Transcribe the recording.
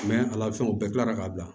ala fɛnw u bɛɛ tilara ka bila